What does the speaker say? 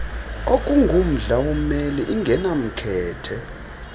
okungumdla wommeli ingenamkhethe